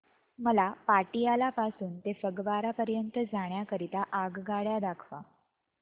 मला पटियाला पासून ते फगवारा पर्यंत जाण्या करीता आगगाड्या दाखवा